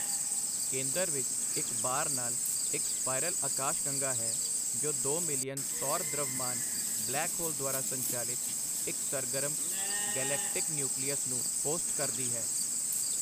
ਕੇਂਦਰ ਵਿੱਚ ਇੱਕ ਬਾਰ ਨਾਲ ਇੱਕ ਸਪਾਈਰਲ ਅਕਾਸ਼ਗੰਗਾ ਹੈ, ਜੋ ਦੋ ਮਿਲੀਅਨ ਸੌਰ ਦ੍ਰਵਮਾਨ ਬਲੈਕ ਹੋਲ ਦੁਆਰਾ ਸੰਚਾਲਿਤ ਇੱਕ ਸਰਗਰਮ ਗੈਲੇਕਟਿਕ ਨਿਊਕਲੀਅਸ ਨੂੰ ਹੋਸਟ ਕਰਦੀ ਹੈ।